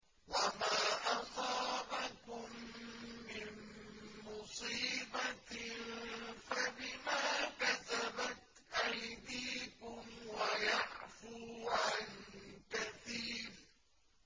وَمَا أَصَابَكُم مِّن مُّصِيبَةٍ فَبِمَا كَسَبَتْ أَيْدِيكُمْ وَيَعْفُو عَن كَثِيرٍ